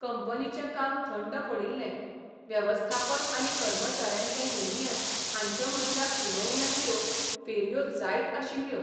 कंपनीचें काम थंड पडिल्ले वेवस्थापन आनी कर्मचाऱ्यांचें युनियन हांच्यामदल्या उलोवण्यांच्यो फेरयो जायत आशिल्ल्यो.